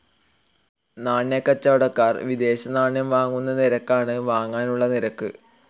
നാണ്യക്കച്ചവടക്കാർ വിദേശനാണ്യം വാങ്ങുന്ന നിരക്കാണ് വാങ്ങാനുള്ള നിരക്ക്.